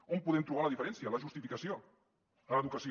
on podem trobar la diferència la justificació a l’educació